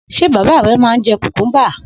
S̩e bàbá re̩ máa ń je̩ kùkúmbà?